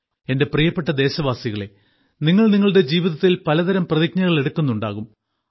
എന്റെ പ്രിയപ്പെട്ട ദേശവാസികളേ നിങ്ങൾ നിങ്ങളുടെ ജീവിതത്തിൽ പലതരം പ്രതിജ്ഞകൾ എടുക്കുന്നുണ്ടാകും